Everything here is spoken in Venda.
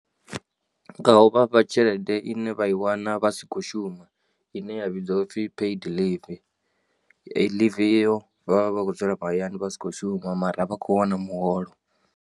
Nga u vha fha tshelede ine vha i wana vha si khou shuma ine ya vhidziwa u pfi paid leave. Eyi ḽivi iyo vha vha vha khou dzula mahayani vha si khou shuma mara vha khou wana muholo.